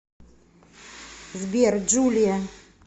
сбер джулия